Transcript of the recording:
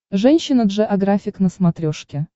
женщина джеографик на смотрешке